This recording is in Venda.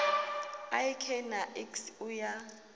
ik na iks u ya